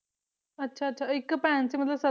ਅੱਛਾ ਅੱਛਾ ਇੱਕ ਭੈਣ ਸੀ ਮਤਲਬ ਸੱਤ ਭਰਾ ਸੀ ਸਾਰੀਆਂ ਤੋਂ